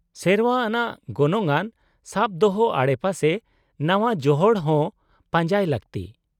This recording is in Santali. -ᱥᱮᱨᱶᱟ ᱟᱱᱟᱜ ᱜᱚᱱᱚᱝᱟᱱ ᱥᱟᱵ ᱫᱚᱦᱚ ᱟᱰᱮᱯᱟᱥᱮ ᱱᱟᱶᱟ ᱡᱚᱦᱚᱲ ᱦᱚᱸ ᱯᱟᱸᱡᱟᱭ ᱞᱟᱹᱠᱛᱤ ᱾